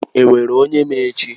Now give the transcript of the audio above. O nwere onye ma echi?